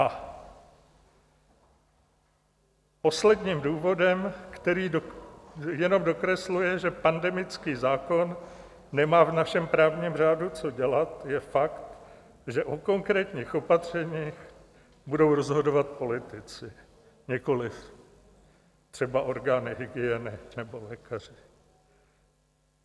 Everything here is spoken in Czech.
A posledním důvodem, který jenom dokresluje, že pandemický zákon nemá v našem právním řádu co dělat, je fakt, že o konkrétních opatřeních budou rozhodovat politici, nikoliv třeba orgány hygieny nebo lékaři.